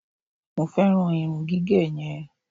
mo feran irun gige yen